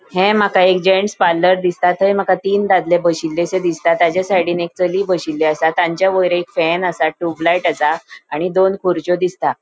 ह्ये माका एक जैंट्स पार्लर दिसता थय माका तीन दादले बशिल्ले दिसता तचा साइडीन एक चली बशिल्ली आसा असा तांचे वयर एक फॅन असा ट्यूबलाइट असा आणि दोन खुर्रचो दिसता.